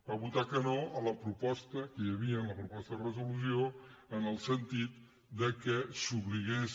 va votar que no a la proposta que hi havia en la proposta de resolució en el sentit que s’obligués